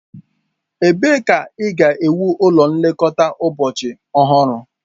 Ebee ka a ga-ewu ụlọ nlekọta ụbọchị ọhụrụ?